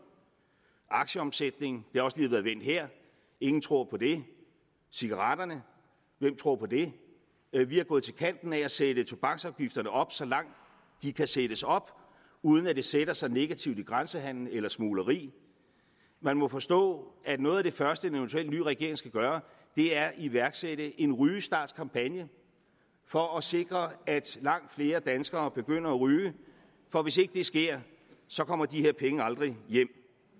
aktieomsætningen det har også lige været vendt her ingen tror på det cigaretterne hvem tror på det vi vi er gået til kanten med at sætte tobaksafgifterne op så langt de kan sættes op uden at det sætter sig negativt i grænsehandelen eller smugleri man må forstå at noget af det første en eventuel ny regering skal gøre er at iværksætte en rygestartkampagne for at sikre at langt flere danskere begynder at ryge for hvis ikke det sker kommer de her penge aldrig hjem